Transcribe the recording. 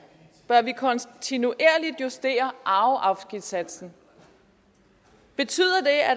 bør vi kontinuerligt justere afgiftssatsen betyder